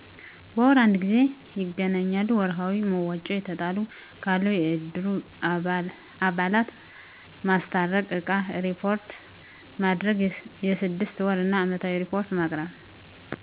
በወር አንድ ጊዜ ይገናኛሉ። ወርሀዊ መዋጮ የተጣሉ ካሉ የእድሩ አባላት ማስታረቅ እቃ እሪፖርት ማድረግ የስድስት ወር እና አመታዊ እሪፖርት ማቅረብ።